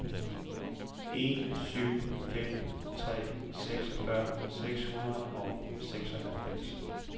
en syv fem tre seksogfyrre seks hundrede og seksoghalvfems